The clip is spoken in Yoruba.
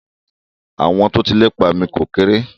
Àwọn tó ti lépa mi ò kérè.